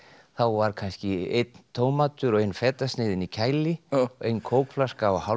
þá var kannski einn tómatur og ein fetasneið inn í kæli og ein kókflaska og hálf